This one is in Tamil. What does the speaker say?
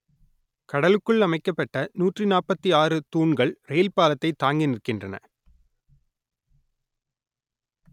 கடலுக்குள் அமைக்கப்பட்ட நூற்று நாற்பத்தி ஆறு தூண்கள் ரெயில் பாலத்தை தாங்கி நிற்கின்றன